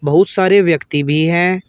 बहुत सारे व्यक्ति भी हैं।